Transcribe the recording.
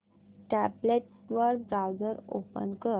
tablet वर browser open कर